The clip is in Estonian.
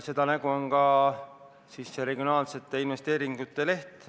Seda nägu on ka see regionaalsete investeeringute leht.